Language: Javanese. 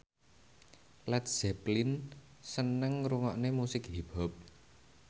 Led Zeppelin seneng ngrungokne musik hip hop